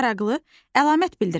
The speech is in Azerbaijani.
Maraqlı əlamət bildirən sözdür.